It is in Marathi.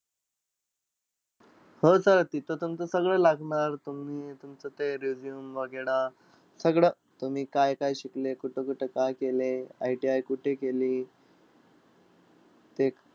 हो sir तिथं तुमचं सगळं लागणार. तुम्ही तुमचं ते resume वगैरे सगळं. तुम्ही काय-काय शिकलेयं, कुठं-कुठं काय-काय केलयं, ITI कुठं केली? ते